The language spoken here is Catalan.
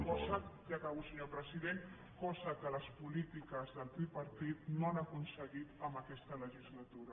cosa que ja acabo senyor president les polítiques del tripartit no han aconseguit en aquesta legislatura